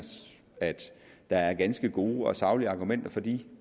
at der er ganske gode og saglige argumenter for de